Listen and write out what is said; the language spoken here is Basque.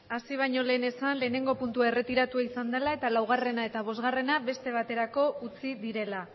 hasi bañolen esan lehenengo puntua erretiratu iza dela eta laugarrena eta bosgarrena beste baterako utzi direla